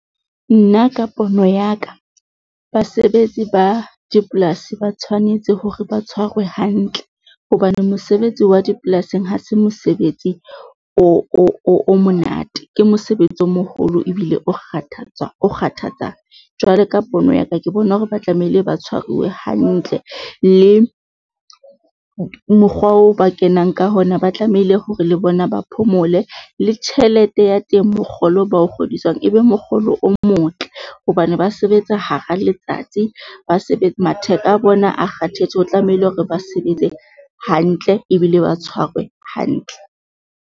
Nna ka pono ya ka, basebetsi ba dipolasi ba tshwanetse hore ba tshwarwe hantle, hobane mosebetsi wa dipolasing ha se mosebetsi o monate. Ke mosebetsi o moholo ebile o kgathatswa o kgathatsa. Jwale ka pono ya ka ke bona hore ba tlamehile ba tshwaruwe hantle le mokgwa o ba kenang ka hona, ba tlamehile hore le bona ba phomole le tjhelete ya teng mokgolo oo ba o kgodiswang e be mokgolo o motle. Hobane ba sebetsa hara letsatsi, ba matheka a bona kgathetse. O tlamehile hore ba sebetse hantle ebile ba tshwarwe hantle.